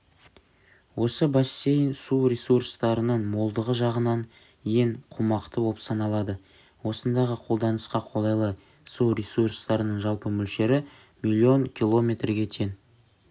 осы бассейн су ресурстарының молдығы жағынан ең қомақты болып саналады осындағы қолданысқа қолайлы су ресурстарының жалпы мөлшері миллион киллометрге тең